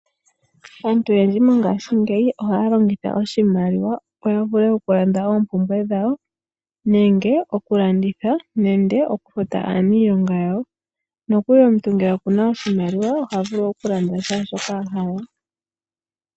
Aantu oyendji mongashingeyi oha ya longitha oshimaliwa opo ya vule okulanda oompumbwe dhawo, nenge okulanditha, nenge okufuta aanilonga yawo. Nokuli omuntu ngele oku na oshimaliwa oha vulu okulanda shaashoka ahala.